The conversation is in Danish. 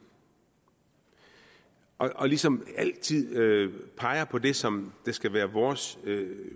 og ligesom altid peger på det som skal være vores